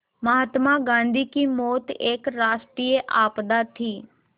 महात्मा गांधी की मौत एक राष्ट्रीय आपदा थी